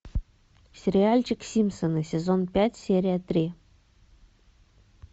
сериальчик симпсоны сезон пять серия три